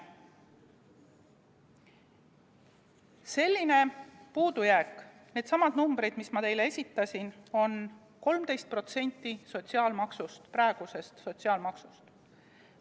Selline puudujääk, needsamad numbrid, mis ma teile esitasin, on 13% praegusest sotsiaalmaksust.